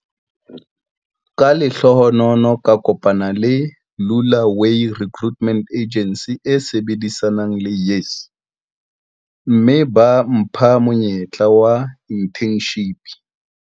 Ka lehlohonolo ka kopana le Lula way Recruitment Agency e sebedisanang le YES, mme ba mpha monyetla wa inthenshipi.